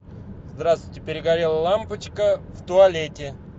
здравствуйте перегорела лампочка в туалете